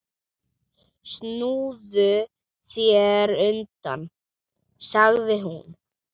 Snúðu þér undan, sagði hún.